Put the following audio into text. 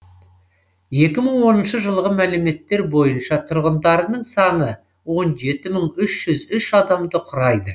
екі мың оныншы жылғы мәліметтер бойынша тұрғындарының саны он жеті мың үш жүз үш адамды құрайды